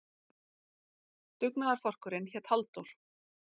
Dugnaðarforkurinn hét Halldór.